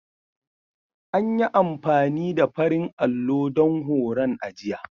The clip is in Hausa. An yi amfani da farin allo don horon a jiya.